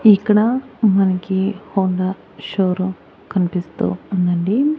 ఇక్కడ మనకి Honda show room కనిపిస్తూ ఉందండి.